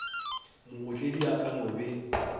mootledi e ka no be